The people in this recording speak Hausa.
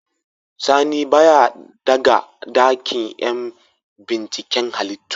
Sani baya daga dakin yan binciken halittu.